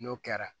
N'o kɛra